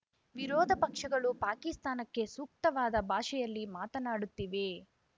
ವಿರೋಧ ಪಕ್ಷಗಳು ಪಾಕಿಸ್ತಾನಕ್ಕೆ ಸೂಕ್ತವಾದ ಭಾಷೆಯಲ್ಲಿ ಮಾತನಾಡುತ್ತಿವೆ